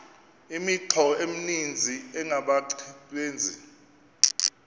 imithqtho emininzi engabaqbenzi